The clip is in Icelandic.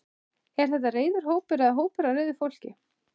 Er þetta reiður hópur eða hópur af reiðu fólki?